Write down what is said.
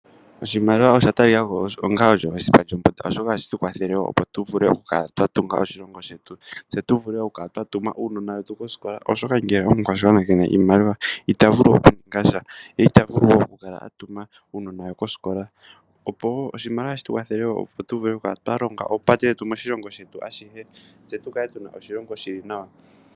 Oshimaliwa osha tali kako osho hashi tu kwathele opo tu vulu oku kala twa tunga oshilongo shetu, se tu vule oku kala twa tuma uunona wetu koskola, oshoka ngele omukwashigwana kena iimaliwa, ita vulu oku ninga sha, ye ita vulu oku tuma uunona we koskola. Oshimaliwa ohashi tu kwathele wo opo tu vule oku kala twa tunga oopate oshilongo shetu ashihe, se tukale tuna oshilongo shili nawa.